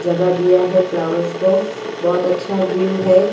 जगह दिया है फ्लावर्स को बहुत अच्छा व्यू है।